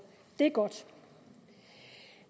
det er godt